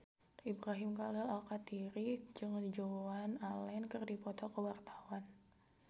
Ibrahim Khalil Alkatiri jeung Joan Allen keur dipoto ku wartawan